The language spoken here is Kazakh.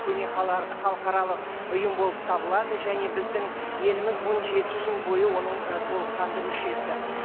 көне халықаралық ұйым болып табылады және біздің еліміз он жеті жыл бойы оның ы толыққанды мүшесі